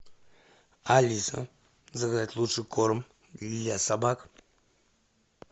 алиса заказать лучший корм для собак